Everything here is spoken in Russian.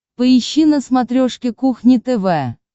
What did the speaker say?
поищи на смотрешке кухня тв